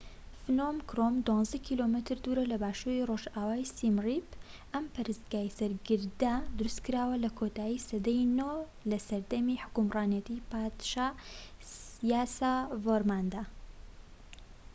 فنۆم کرۆم، ١٢ کیلۆمەتر دوور لە باشووری ڕۆژئاوای سیم ریپ. ئەم پەرستگای سەر گردە دروستکراوە لە کۆتایی سەدای ٩ دا لە سەردەمی حوکمڕانیتی پادشا یاسۆڤارماندا